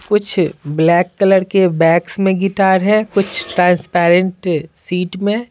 कुछ black colour के bags में गिटार है कुछ ट्रांसपेरेंट सीट में।